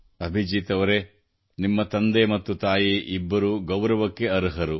ಅಭಿಜೀತ್ ಅವರೇ ನಿಮ್ಮ ತಂದೆ ಮತ್ತು ತಾಯಿ ಇಬ್ಬರೂ ಗೌರವಕ್ಕೆ ಅರ್ಹರು